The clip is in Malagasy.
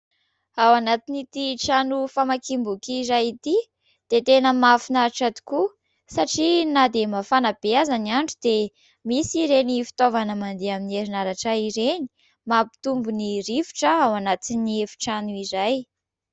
Ao anatin'ity trano famakiam-boky iray ity dia tena mahafinaritra tokoa satria na dia mafana be aza ny andro dia misy ireny fitaovana mandeha amin'ny herinaratra ireny ; mampitombo ny rivotra ao anaty efitrano iray.